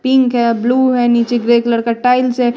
Pink है blue है नीचे ग्रे कलर का टाइल्स है।